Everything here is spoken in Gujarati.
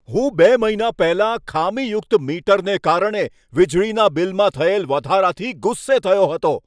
હું બે મહિના પહેલાં ખામીયુક્ત મીટરને કારણે વીજળીના બિલમાં થયેલ વધારાથી ગુસ્સે થયો હતો.